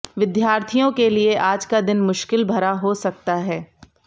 विद्यार्थियों के लिए आज का दिन मुश्किल भरा हो सकता है